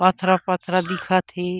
पथरा - पथरा दिखत हे।